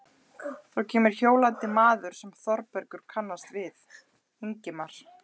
Þá kemur hjólandi maður sem Þórbergur kannast við, Ingimar